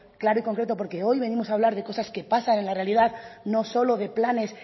claro y concreto porque hoy venimos a hablar de cosas que pasan en la realidad no solo de planes